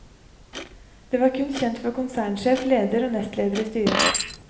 De var kun kjent for konsernsjef, leder og nestleder i styret.